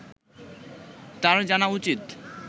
তার জানা উচিৎ